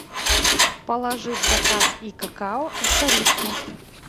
положи в заказ и какао и корицу